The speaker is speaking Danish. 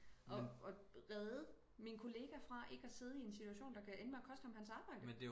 Og og redde min kollega fra ikke at sidde i en situation der kan ende med at koste ham hans arbejde